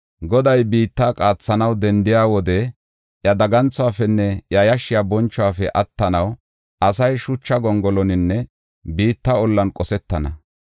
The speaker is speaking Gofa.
Goday biitta qaathanaw dendiya wode iya daganthuwafenne iya yashshiya bonchuwafe attanaw asay shucha gongoloninne biitta ollan qosetana.